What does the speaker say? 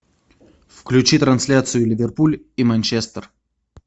включи трансляцию ливерпуль и манчестер